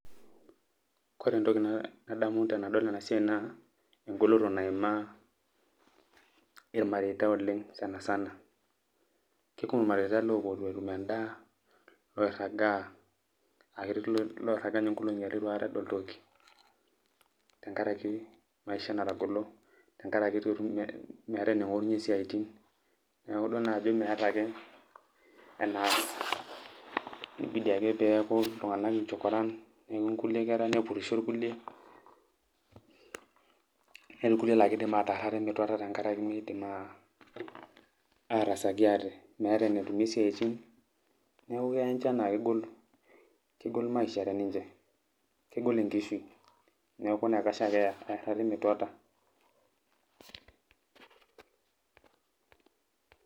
Ore entoki nadamu tenadol ena siai naa engoloto naimaa irmareita oleng' sana sana kekumok irmareita loopuo itu etum endaa loirragaa ninye nkolong'i are itu edol toki tenkaraki maisha natagolo tenkaraki meeta ening'orunyie isiaitin neeku idol naake ajo meeta ake enaas ibidi ake peeku iltung'anak inchokoran neeku kilie kera nepurrisho kulie netii kulie naa kiidim ataarr ate metuatua tenkaraki miidim aatasaki ate, meeta enetumie isiaitin neeku keya ninche enaa kegol maisha teninche, kegol enkishui neeku pesho ake meerr ate metuata.